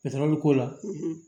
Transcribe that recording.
Yatara bɛ k'o la